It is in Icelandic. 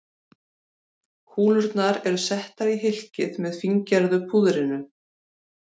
Kúlurnar eru settar í hylkið með fíngerða púðrinu.